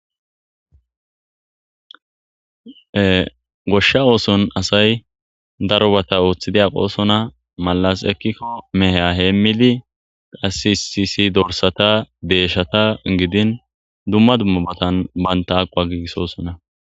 Gooshsha ooththoni asay darobatta Ooththidi aaqosonna maallasi eekikko meeha hemiddi qase issi issi dorssata,deyshshata giddin dumma dumma battanii bantta aaquwa gigisosonna.